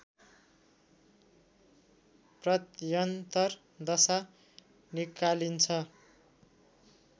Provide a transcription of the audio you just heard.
प्रत्यन्तर दशा निकालिन्छ